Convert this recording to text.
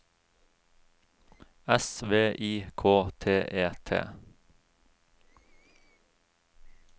S V I K T E T